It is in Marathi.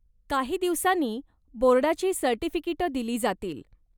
काही दिवसांनी बोर्डाची सर्टिफिकेटं दिली जातील.